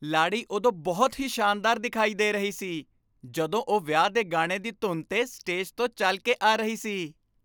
ਲਾੜੀ ਉਦੋਂ ਬਹੁਤ ਹੀ ਸ਼ਾਨਦਾਰ ਦਿਖਾਈ ਦੇ ਰਹੀ ਸੀ ਜਦੋਂ ਉਹ ਵਿਆਹ ਦੇ ਗਾਣੇ ਦੀ ਧੁਨ 'ਤੇ ਸਟੇਜ ਤੋਂ ਚੱਲ ਕੇ ਆ ਰਹੀ ਸੀ।